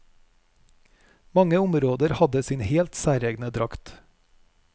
Mange områder hadde sin helt særegne drakt.